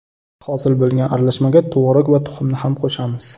Hosil bo‘lgan aralashmaga tvorog va tuxumni ham qo‘shamiz.